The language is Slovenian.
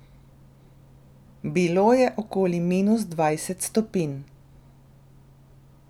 Bilo je okoli minus dvajset stopinj.